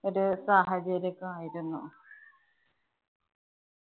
ഒരു സാഹചര്യം ആയിരുന്നു.